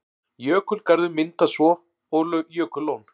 Jökulgarður myndast svo og jökullón.